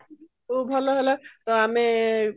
ଖୁବ ଭଲ ହେଲା ତ ଆମେ